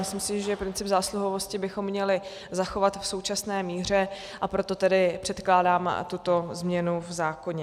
Myslím si, že princip zásluhovosti bychom měli zachovat v současné míře, a proto tedy předkládám tuto změnu v zákoně.